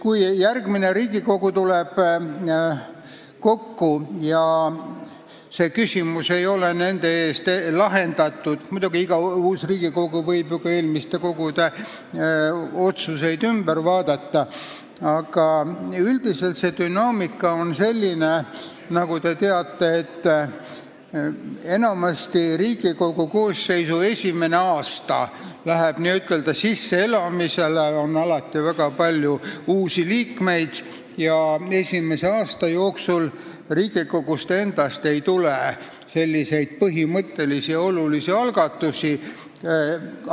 Kui järgmine Riigikogu kokku tuleb ja see küsimus ei ole nende eest lahendatud – muidugi, iga uus Riigikogu võib ju ka eelmiste Riigikogude otsuseid üle vaadata –, siis nagu te teate, üldiselt on dünaamika selline, et Riigikogu koosseisu esimene aasta läheb enamasti n-ö sisseelamisele, alati on väga palju uusi liikmeid, ja esimese aasta jooksul Riigikogust endast põhimõttelisi olulisi algatusi ei tule.